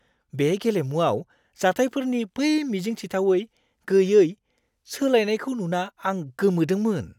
बे गेलेमुआव जाथायफोरनि बै मिजिंथिथावै गैयै सोलायनायखौ नुना आं गोमोदोंमोन!